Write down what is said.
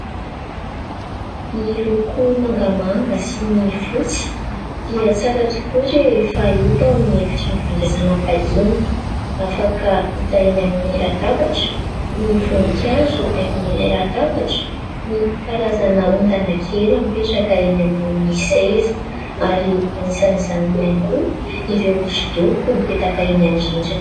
Ny loko mangamanga sy ny fotsy dia tsara tokoa rehefa hita ao amin'ny efitrano fandraisana vahiny. Afaka hita eny amin'ny latabatra ny voninkazo haingon'ilay latabatra, ny karazana ondana kely mipetraka eny ambonin'ny seza ary anisan'izany ihany koa ireo hosodoko mipetaka eny amin'ny rindrina.